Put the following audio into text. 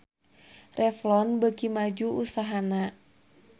Revlon beuki maju usahana